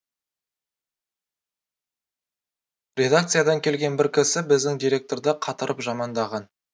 редакциядан келген бір кісі біздің директорды қатырып жамандаған